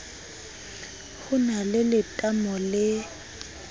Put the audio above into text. ho na le letamo le